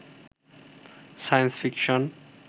science fiction